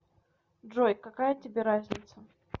джой какая тебе разница